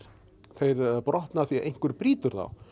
þeir brotna af því að einhver brýtur þá